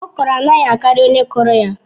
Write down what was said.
Okro anaghị akari onye kụrụ ya